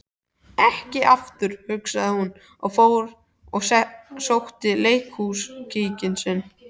Ekki aftur, hugsaði hún, og fór og sótti leikhúskíkinn sinn.